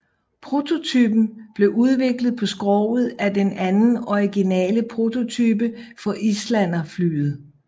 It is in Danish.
Prototypen blev udviklet på skroget fra den anden originale prototype for Islanderflyet